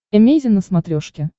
эмейзин на смотрешке